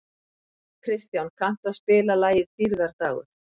Kristján, kanntu að spila lagið „Dýrðardagur“?